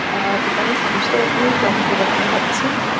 অ-অ এখানে সমস্ত রকমের টমেটো দেখা যাচ্ছে ।